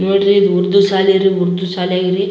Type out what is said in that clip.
ನೋಡ್ರಿ ಉರ್ದು ಸಾಲಿ ಆರ್ ಉರ್ದು ಸಾಲಿಯಾಗ್ ಇರಿ-